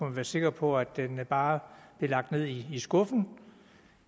være sikker på at den bare blev lagt ned i skuffen